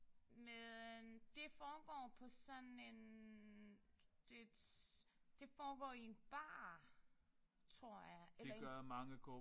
Men det foregår på sådan en det et det foregår i en bar tror jeg eller en